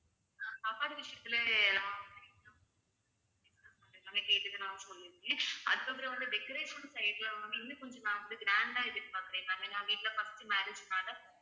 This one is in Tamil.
சாப்பாடு விஷயத்துல சொல்லி இருக்கேன் அதுக்கு அப்புறம் வந்து decoration side ல வந்து இன்னும் கொஞ்சம் நான் வந்து grand ஆ எதிர் பார்க்குறேன் ma'am ஏன்னா எங்க இதுல first marriage னால